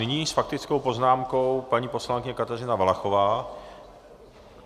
Nyní s faktickou poznámkou paní poslankyně Kateřina Valachová.